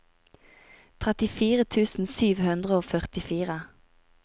trettifire tusen sju hundre og førtifire